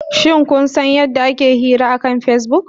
Shin kun san yadda ake yin hira akan Facebook?